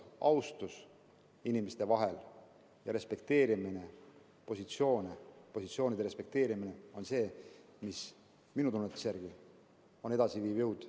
Austus inimeste vahel ja positsioonide respekteerimine on see, mis minu tunnetuse järgi on edasiviiv jõud.